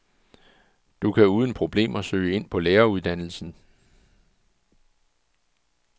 Du kan uden problemer søge ind på læreruddannelsen.